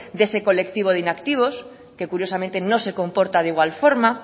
de ese colectivo de inactivos que curiosamente no se comporta de igual forma